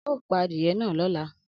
Ao pa adiye na lola.